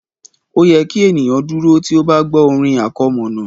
Ó yẹ kí ènìyàn dúró tí ó bá gbọ́ orin àkọmọ̀nà